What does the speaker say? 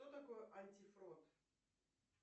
что такое антифрод